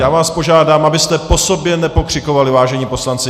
Já vás požádám, abyste po sobě nepokřikovali, vážení poslanci.